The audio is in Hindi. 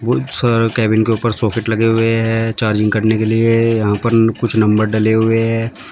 बहोत सारा केबिन के ऊपर सॉकेट लगे हुए हैं चार्जिंग करने के लिए यहां पर कुछ नंबर डले हुए हैं।